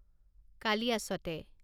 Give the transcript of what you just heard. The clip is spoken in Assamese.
কালিয়াছতে